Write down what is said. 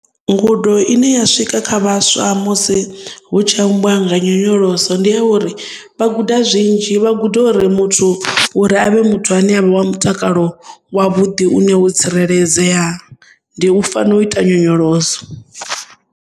Ngudo ine ya swika kha vhaswa musi hu tshi ambiwa nga nyonyoloso ndi a uri vha guda zwinzhi vha guda uri muthu uri avhe muthu ane avha wa mutakalo wa vhuḓi une hu tsireledzea ndi u fanela u ita nyonyoloso.